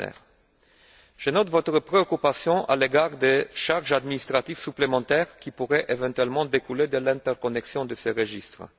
Lechner. Je note votre préoccupation à l'égard des charges administratives supplémentaires qui pourraient éventuellement découler de l'interconnexion de ces registres.